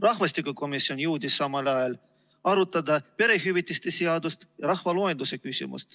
Rahvastikukomisjon jõudis samal ajal arutada perehüvitiste seadust ja rahvaloenduse küsimust.